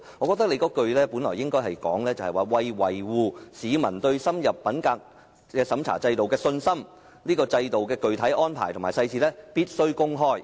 我認為該句理應改為："為維護市民對深入審查制度的信心，該制度的具體安排和細節必須公開。